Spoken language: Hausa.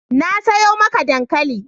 Na sayo maka dankali.